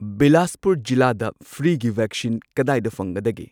ꯕꯤꯂꯥꯁꯄꯨꯔ ꯖꯤꯜꯂꯥꯗꯥ ꯐ꯭ꯔꯤꯒꯤ ꯚꯦꯛꯁꯤꯟ ꯀꯗꯥꯏꯗ ꯐꯪꯒꯗꯒꯦ?